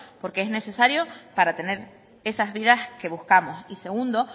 porque es necesario para tener esas vidas que buscamos y segundo